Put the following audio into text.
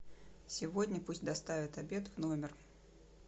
сегодня пусть доставят обед в номер